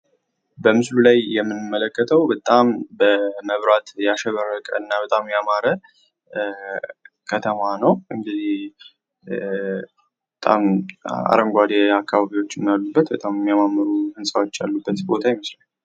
በምስሉ ላይ የምንመለከተው በጣም በመብራት ያሸበረቅ እና በጣም ያማረ ከተማ ነው እንግዲህ አረንጓዴ ቦታዎች አሉበት የሚያማምሩ ህንጻዎች ያሉበት ቦታ ይመስላል።